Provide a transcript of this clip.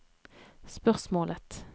spørsmålet